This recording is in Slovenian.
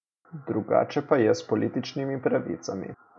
Drugače pa je s političnimi pravicami.